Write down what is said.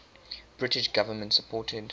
british government supported